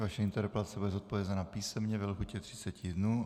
Vaše interpelace bude zodpovězena písemně ve lhůtě 30 dnů.